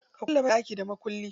Ta kulle banɗaki da mukullin.